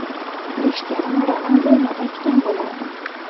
Krishtianu Ronalduni aytgan bo‘lardim.